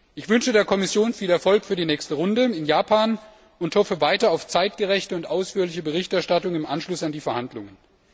Ich wünsche der Kommission viel Erfolg für die nächste Runde in Japan und hoffe weiter auf zeitgerechte und ausführliche Berichterstattung im Anschluss an die Verhandlungen.